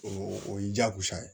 O o y'i diyagosa ye